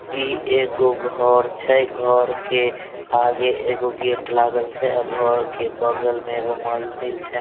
ई एगो घर छै घर के आगे एगो गेट लागल छै घर के बगल में एगो मंदिर छै।